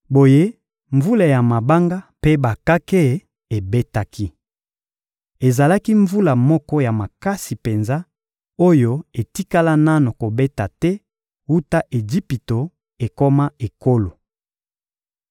Boye mvula ya mabanga mpe bakake ebetaki. Ezalaki mvula moko ya makasi penza oyo etikala nanu kobeta te wuta Ejipito ekoma ekolo.